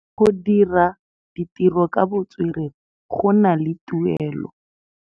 Go dira ditirô ka botswerere go na le tuelô.